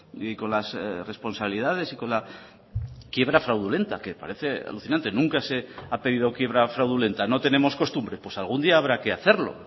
y con las responsabilidades y con la quiebra fraudulenta que parece alucinante nunca se ha pedido quiebra fraudulenta no tenemos costumbre pues algún día habrá que hacerlo